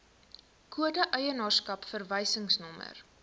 kode eienaarskap verwysingsnommer